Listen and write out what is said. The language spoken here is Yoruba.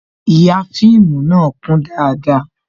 Ihà fíìmù na kún dáadáa